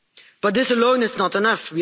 But this alone is not enough.